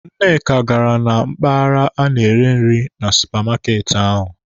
Nneka gara na mpaghara a na-ere nri na supamaati ahụ.